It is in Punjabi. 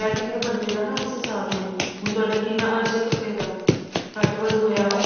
ਕਹਿਜੀਆ ਬਣਜੇਗਾ ਨਾ ਉਸ ਹਿਸਾਬ ਨਾਲ ਹੁਣ ਤੁਹਾਡਾ ਕਿੰਨਾ ਆਰਜ ਹੈ ਕੱਪੜੇ ਦਾ ਘੱਟ ਵੱਧ ਹੋਇਆ